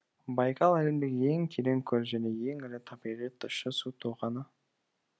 байқал әлемдегі ең терең көл және ең ірі табиғи тұщы су тоғаны